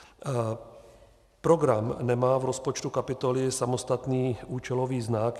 Program nemá v rozpočtu kapitoly samostatný účelový znak.